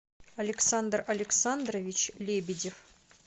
александр александрович лебедев